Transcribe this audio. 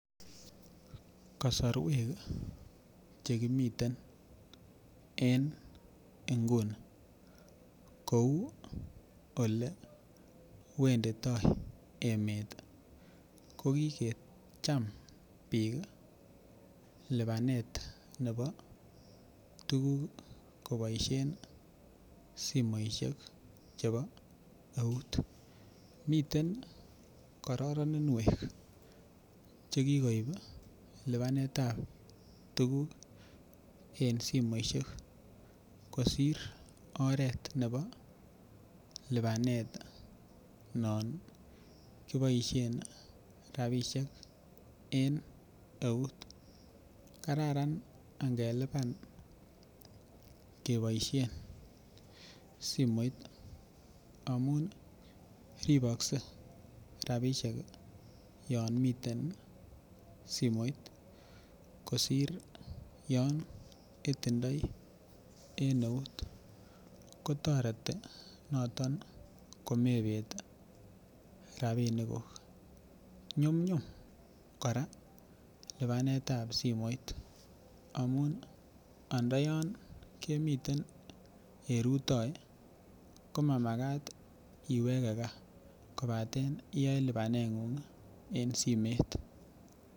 Kasorwek chekimiten en nguni kou elewenditoo emet ko kikecham biik lipanet nebo tuguk koboisien simoisiek chebo eut miten kororoninwek chekikoib lipanet ab tuguk en simoisiek kosir oret nebo lipanet noton kiboisien rapisiek en eut kararan ngelipan keboisien simoit amun ribokse rapisiek yon miten simoit kosir yon itindoi en eut kotoreti noton komebet rapinik kuk nyumnyum kora lipanet ab simoit amun andayon kemiten en rutoi komamakat iwege gaa kobaten iyoe lipanet ng'ung en simet